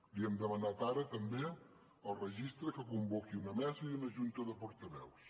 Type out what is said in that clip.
li hem demanat ara també al registre que convoqui una mesa i una junta de portaveus